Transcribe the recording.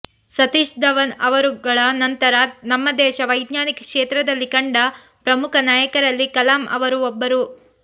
ಸತೀಶ್ ಧವನ್ ಅವರುಗಳ ನಂತರ ನಮ್ಮ ದೇಶ ವೈಜ್ಞಾನಿಕ ಕ್ಷೇತ್ರದಲ್ಲಿ ಕಂಡ ಪ್ರಮುಖ ನಾಯಕರಲ್ಲಿ ಕಲಾಂ ಅವರೂ ಒಬ್ಬರು